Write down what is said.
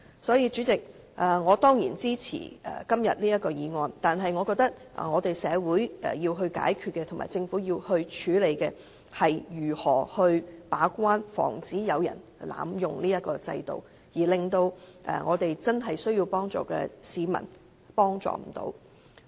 所以，主席，我當然支持這項擬議決議案，但我覺得社會要解決的問題、政府要處理的問題是，如何防止法援制度被濫用，導致真正需要幫助的市民得不到幫助。